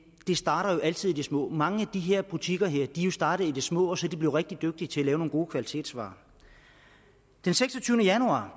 det starter jo altid i det små mange af de her butikker er jo startet i det små og så er de blevet rigtig dygtige til at lave nogle gode kvalitetsvarer den seksogtyvende januar var